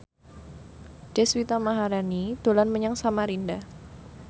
Deswita Maharani dolan menyang Samarinda